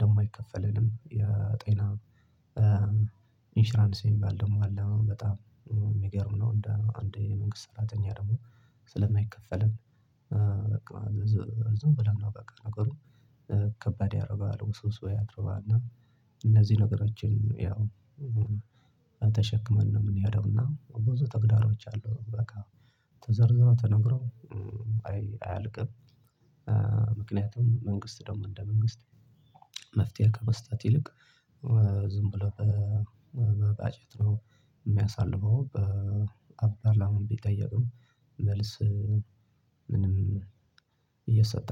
ደግሞ አይከፈለንም የጤና ኢንሽራንስ የሚባል ደግሞ አለ በጣም የሚገርም ነው። እንደ አንድ የመንግስት ሰራተኛ ደግሞ ስለማይከፈለን በቃ ዝም ብለን ነው በቃ ነገሩ ከባድ ያደርገዋል ውስብስብ ያደርገዋል። እነዚህ ነገሮችን ያው ተሸክመን ነው የምንሄደው እና ብዙ ተግዳሮች አሉ በቃ ተዘርዝሮ ተነግሮ አያልቅም። ምክንያቱም መንግስት ደግሞ እንደ መንግስት መፍትሄ ከመስጠት ይልቅ ዝም ብሎ በባጀት ነው የሚየሳልፈው በ ፖርላማ ቢጠየቅም መልስ ምንም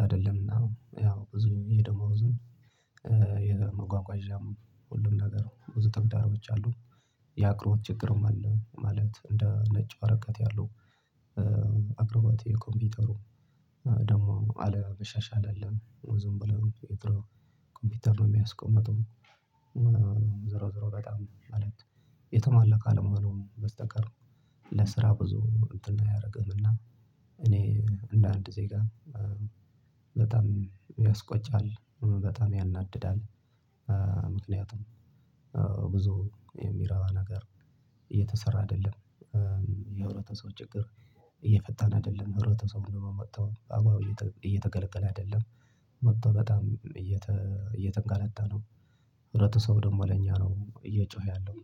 አይደለምና ያው ብዙ የደሞዙን የመጓጓዣም ሁሉም ነገር ብዙ ተግዳሮች አሉ። የአቅርቦት ችግርም አለ ማለት እንደ ነጭ ወረቀት ያለው አቅርቦት የኮምፒውተሩ ደግሞ አለመሻሻል አለን ዝም ብለው የድሮ ኮምፒውተር ነው የሚያስቀምጡ ዝሮ ዝሮ በጣም ማለት ነው። የተሟላ ካለ መሆኑም በስተቀር ለስራ ብዙ እንትን አያደርግህም እና እኔ እንደ አንድ ዜጋ በጣም ያስቆጫል በጣም ያናድዳል። ምክንያቱም ብዙ የሚረባ ነገር እየተሰራ አይደለም የህብረተሰቡ ችግር እየፈታን አይደለም ህብረተሰቡ ደግሞ መጥቶ በአግባቡ እየተገለገለ አይደለም። መጥቶ በጣም እየተንገላታ ነው ህብረተሰቡ ደግሞ ለኛ ነው እየጮኸ ያለው።